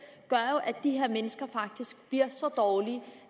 gør jo at de her mennesker faktisk bliver så dårlige